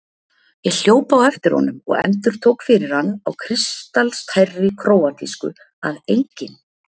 Ég hljóp á eftir honum og endurtók fyrir hann á kristaltærri króatísku að ENGINN